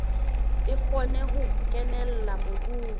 e kgone ho kenella mobung